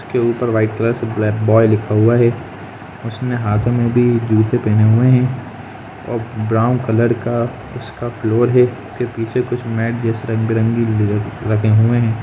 इसके ऊपर white colour से बॉय लिखा हुआ है उसने हाथो में भी जूते पहने हुए है और ब्राउन कलर का उसका फ्लोर है उसके पीछे मेट जैसी रंग बिरंगे रखे हुई है।